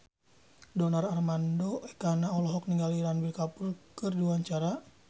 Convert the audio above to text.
Donar Armando Ekana olohok ningali Ranbir Kapoor keur diwawancara